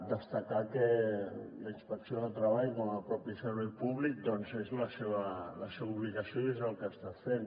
destacar que la inspecció de treball com a propi servei públic doncs és la seva obligació i és el que està fent